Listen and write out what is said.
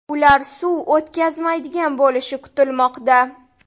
Ular suv o‘tkazmaydigan bo‘lishi kutilmoqda.